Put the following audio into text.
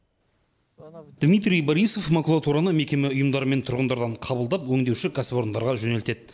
дмитрий борисов макулатураны мекеме ұйымдар мен тұрғындардан қабылдап өңдеуші кәсіпорындарға жөнелтеді